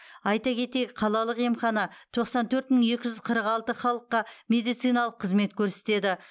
айта кетейік қалалық емхана тоқсан төрт мың екі жүз қырық алты халыққа медициналық қызмет көрсетеді